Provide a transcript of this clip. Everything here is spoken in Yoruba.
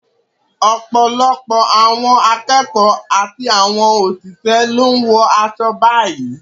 Ọ̀pọ̀lọpọ̀ àwọn akẹ́kọ̀ọ́ àti àwọn òṣìṣẹ́ ló ń wọ aṣọ báyìí